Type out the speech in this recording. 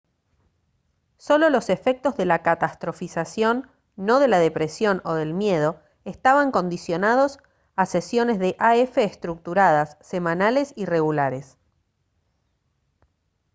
solo los efectos de la catastrofización no de la depresión o del miedo estaban condicionados a sesiones de af estructuradas semanales y regulares